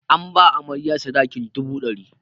An ba amarya sadakin dubu ɗari.